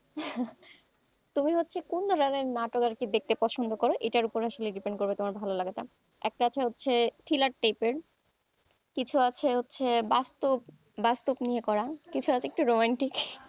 তুমি হচ্ছে কোন ধরনের নাটক আরকি দেখতে পছন্দ কর এটার উপরে আসলে depend করবে তোমার ভালো লাগাটা একটা হচ্ছে thriller type এর কিছু আছে হচ্ছে বাস্তব নিয়ে করা, কিছু আছে একটু রোমান্টিক,